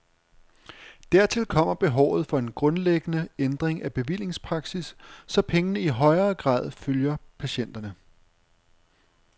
Dertil kommer behovet for en grundlæggende ændring af bevillingspraksis, så pengene i højere grad følger patienterne.